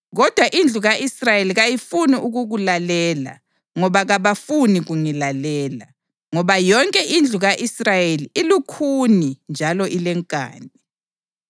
Kodwa indlu ka-Israyeli kayifuni ukukulalela ngoba kabafuni kungilalela, ngoba yonke indlu ka-Israyeli ilukhuni njalo ilenkani.